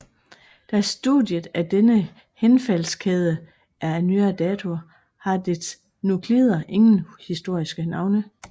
Da studiet af denne henfaldskæde er af nyere dato har dets nuklider ingen historiske navne